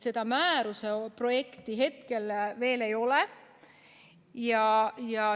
Määruse projekti hetkel veel ei ole.